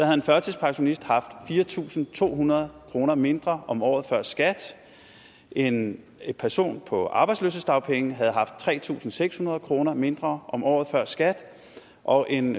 en førtidspensionist haft fire tusind to hundrede kroner mindre om året før skat en person på arbejdsløshedsdagpenge havde haft tre tusind seks hundrede kroner mindre om året før skat og en